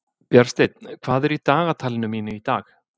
Bjarnsteinn, hvað er í dagatalinu mínu í dag?